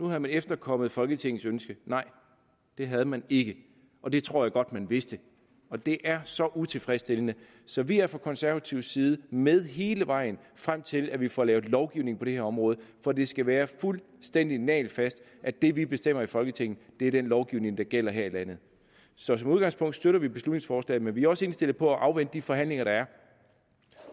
man efterkommet folketingets ønske nej det havde man ikke og det tror jeg godt at man vidste det er så utilfredsstillende så vi er fra konservativ side med hele vejen frem til at vi får lavet lovgivning på det her område for det skal være fuldstændig nagelfast at det vi bestemmer i folketinget er den lovgivning der gælder her i landet så som udgangspunkt støtter vi beslutningsforslaget men vi er også indstillet på at afvente de forhandlinger der er